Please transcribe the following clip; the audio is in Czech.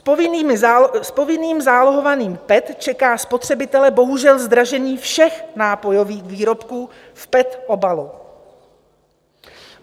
S povinným zálohováním PET čeká spotřebitele bohužel zdražení všech nápojových výrobků v PET obalu.